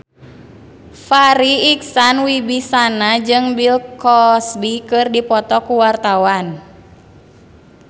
Farri Icksan Wibisana jeung Bill Cosby keur dipoto ku wartawan